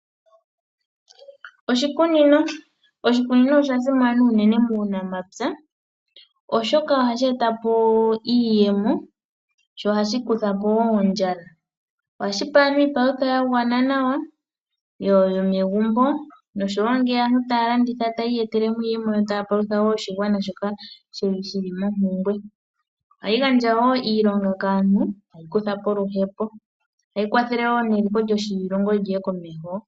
Oshikunino, oshikunino osha simana uunene muunapya oshoka ohashi eta po iiyemo, sho ohashi kutha po wo ondjala. Ohashi pe aantu iipalutha ya gwana nawa yomegumbo noshowo ngele aantu taya landitha etaya iyetele iiyemo taya palutha wo oshigwana shoka shili mompumbwe. Ohayi gandja wo iilonga kaantu etayi kutha po oluhepo. Ohayi kwathele wo neliko lyoshilongo lyiye komeho.